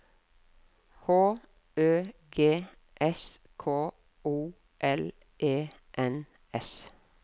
H Ø G S K O L E N S